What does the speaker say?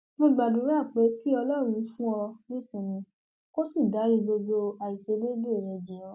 mo gbàdúrà pé kí ọlọrun fún ọ nísinmi kó sì dárí gbogbo àìṣedéédé rẹ jì ọ